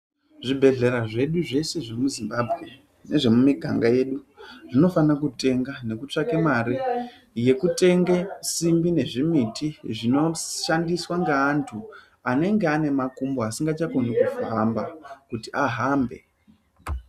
Zvibhedhlera zvedu zveshe zvemuzimbabwe nezvemumiganga yedu zvinofanire kutenga nekutsvake mare yekutenga simbi nezvimiti zvinodhandiswa ngeantu anenga ane makumbo asinga chakoni kufamba kuti ahambe.